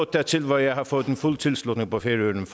dertil hvor jeg har fået fuld tilslutning på færøerne